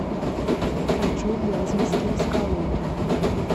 хочу в вяземский из калуги